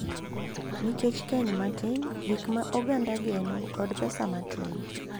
Nikech keny matin, gik ma oganda geno, kod pesa matin.